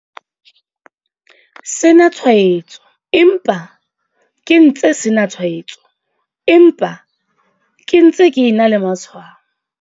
sena tshwaetso empa ke ntse sena tshwaetso empa ke ntse ke ena le matshwao.